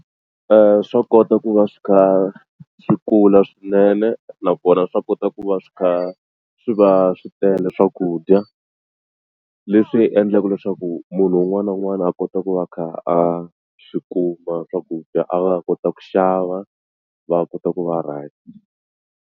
Swa kota ku va swi kha swi kula swinene nakona swa kota ku va swi kha swi va swi tele swakudya leswi endlaka leswaku munhu un'wana na un'wana a kota ku va a kha a swi kuma swakudya a va a kota ku xava va kota ku va right.